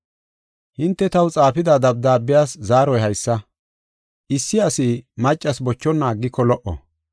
Hinte taw xaafida dabdaabiyas zaaroy haysa. Issi asi maccas bochonna aggiko lo77o.